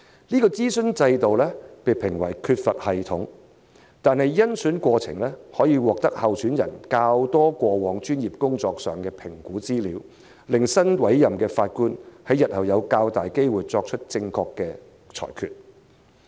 這諮詢制度被評為缺乏系統，但甄選過程可獲得較多有關候選人過往專業工作的評估資料，較能確保新委任的法官日後有較大機會作出正確的裁決。